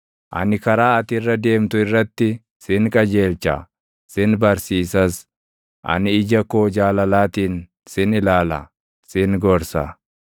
Ani karaa ati irra deemtu irratti sin qajeelcha; sin barsiisas; ani ija koo jaalalaatiin sin ilaala; sin gorsa.